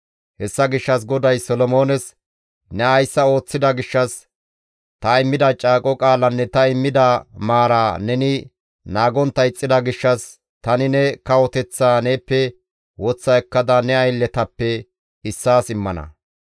Hessa gishshas GODAY Solomoones, «Ne hayssa ooththida gishshas, ta immida caaqo qaalanne ta immida maara neni naagontta ixxida gishshas, tani ne kawoteththaa neeppe woththa ekkada ne aylletappe issaas immana.